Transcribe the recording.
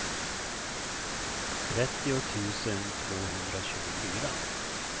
trettio tusen tvåhundratjugofyra